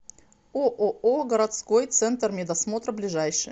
ооо городской центр медосмотра ближайший